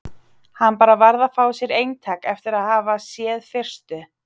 Hann bara varð að fá sér eintak eftir að hafa séð fyrstu